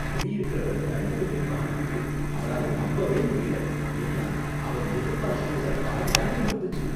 குடியிருக்கிறவர் current பில்லைப் பார்த்துட்டு அவரால நம்பவே முடியல, ஏன்னா, அவர் எதிர்பார்த்ததுல பாதிதான் வந்திருந்துச்சு